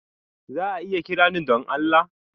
Za a iya kira ni don Allah?